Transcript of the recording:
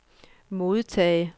modtag